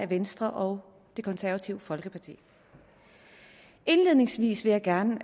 venstre og det konservative folkeparti indledningsvis vil jeg gerne